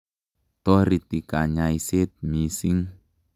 Toreti kanyaiset missing'